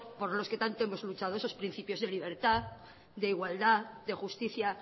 por los que tanto hemos luchado esos principios de libertad de igualdad de justicia